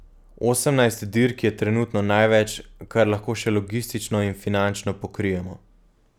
Osemnajst dirk je trenutno največ, kar lahko še logistično in finančno pokrijemo.